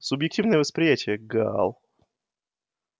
субъективное восприятие гаал